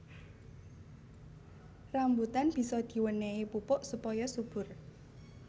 Rambutan bisa diwénéhi pupuk supaya subur